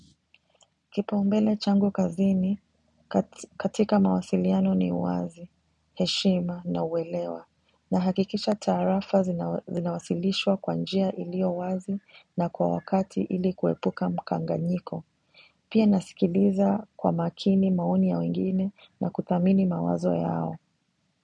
Kipaumbele changu kazini, katika mawasiliano ni wazi, heshima na uwelewa. Nahakikisha taarafa zinawasilishwa kwa njia ilio wazi na kwa wakati ili kuepuka mkanganyiko. Pia nasikiliza kwa makini maoni ya wengine na kudhamini mawazo yao.